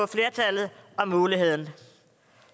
at og muligheden